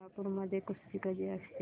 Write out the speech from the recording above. कोल्हापूर मध्ये कुस्ती कधी असते